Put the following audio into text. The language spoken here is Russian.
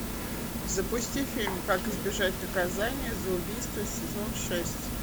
запусти фильм как избежать наказания за убийство сезон шесть